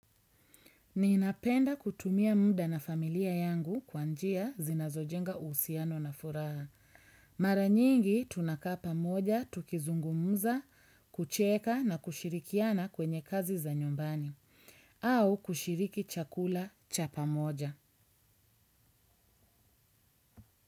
Ninapenda kutumia muda na familia yangu kwa njia zinazojenga uhusiano na furaha. Mara nyingi tunakaa pamoja, tukizungumza, kucheka na kushirikiana kwenye kazi za nyumbani. Au kushiriki chakula cha pamoja.